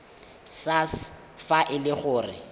sars fa e le gore